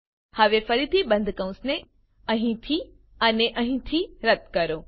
હવે ફરીથી બંધ કૌંસ અહીંથી અને અહીંથી રદ્દ કરો